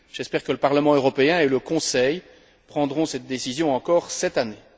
J'espère que le Parlement européen et le Conseil prendront cette décision encore cette année.